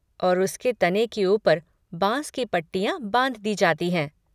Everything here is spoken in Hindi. और उसके तने के ऊपर बाँस की पट्टियाँ बाँध दी जाती हैं।